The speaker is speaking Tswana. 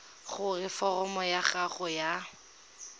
gore foromo ya gago ya